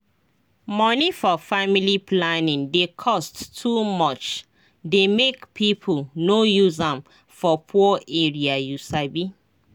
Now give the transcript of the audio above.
money for family planning dey cost too much dey make people no use am for poor area you sabi